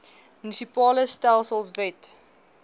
munisipale stelsels wet